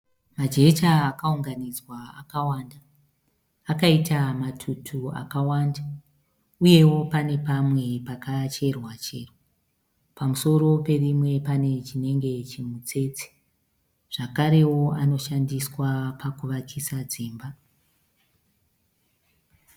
Jecha rakaunganidzwa rakawanda akaitwa matutu akawanda uyewo pane pamwe pakacherwa-cherwa pamusoro perimwe pane chinenge chimutsetse zvakarewo anoshandiswa pakuvakisa dzimba.